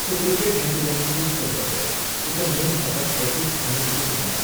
so cricket हें तूं जेन्ना चूज करता पळय, तुका मेन फकत ऍथीक्स आनी तुजो फिटनॅस